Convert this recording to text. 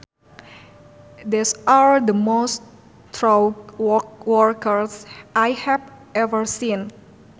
These are the most thorough workers I have ever seen